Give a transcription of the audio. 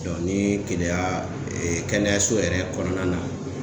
ni Keleya kɛnɛyaso yɛrɛ kɔnɔna na.